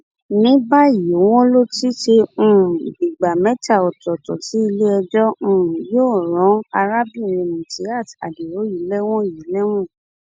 ní báyìí wọn ló um dìgbà mẹta ọtọọtọ tí iléẹjọ um yóò rán arábìnrin mutíát adio yìí lẹwọn yìí lẹwọn